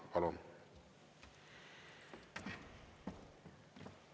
Palun!